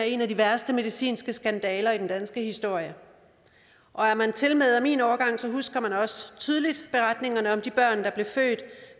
en af de værste medicinske skandaler i den danske historie og er man tilmed af min årgang husker man også tydeligt beretningerne om de børn der blev født